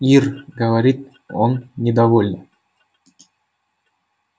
ир говорит он недовольно